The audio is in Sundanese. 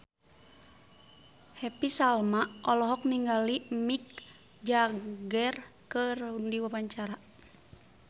Happy Salma olohok ningali Mick Jagger keur diwawancara